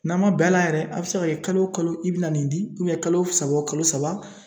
N'a ma bɛn a la yɛrɛ a be se ka kɛ kalo o kalo i bi na nin di ubiyɛn kalo saba o kalo saba